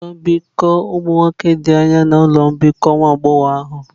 Ụlọ mbikọ ụmụ nwoke dị anya na ụlọ mbikọ nke nwa agbọghọ ahụ.